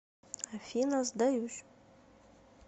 афина сдаюсь